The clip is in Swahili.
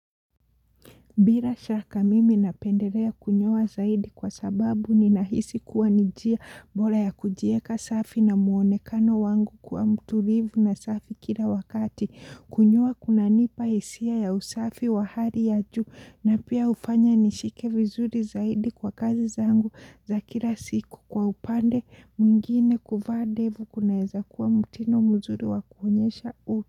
Bila shaka mimi napendelea kunyoa zaidi kwa sababu ni ninahisi kuwa ni njia bora ya kujieka safi na muonekano wangu kuwa mtulivu na safi kila wakati. Kunyoa kunanipa hisia ya usafi wa hali ya juu na pia hufanya nishike vizuri zaidi kwa kazi zangu za kila siku kwa upande mwingine kuvaa ndevu kunaweza kuwa mtindo mzuri wa kuonyesha u.